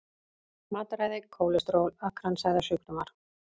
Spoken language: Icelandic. Matarræði, kólesteról, kransæðasjúkdómar.